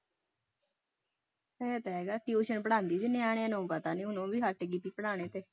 ਇਹ ਤਾਂ ਹੈਗਾ tuition ਪੜ੍ਹਾਉਂਦੀ ਸੀ ਨਿਆਣਿਆਂ ਨੂੰ ਪਤਾ ਨੀ ਹੁਣ ਉਹ ਵੀ ਹਟ ਗਈ ਸੀ ਪੜ੍ਹਾਉਣੇ ਤੇ।